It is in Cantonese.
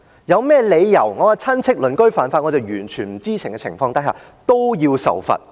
有甚麼理由我的親戚、鄰居犯法，我在完全不知情的情況下連我也要受罰？